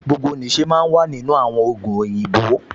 Gbogbo nìṣe máa ń wà nínú àwọn ògùn òyìnbó